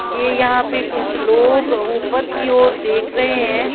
ये यहां पे कुछ लोग ऊपर की ओर देख रहे हैं।